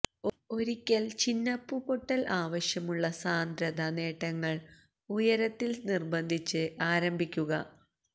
ഒരിക്കൽ ചിനപ്പുപൊട്ടൽ ആവശ്യമുള്ള സാന്ദ്രത നേട്ടങ്ങൾ ഉയരത്തിൽ നിർബന്ധിച്ച് ആരംഭിക്കുക